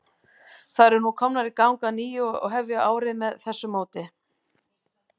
Þær eru nú komnar í gang að nýju og hefja árið með þessu móti.